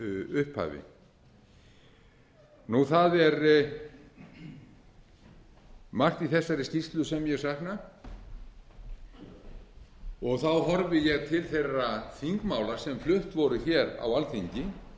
upphafi það er margt í þessari skýrslu sem ég sakna og þá horfi ég til þeirra þingmála sem flutt voru hér á alþingi